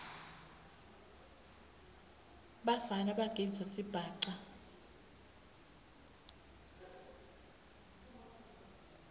bafana bagidza sibhaca